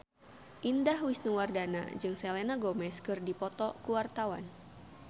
Indah Wisnuwardana jeung Selena Gomez keur dipoto ku wartawan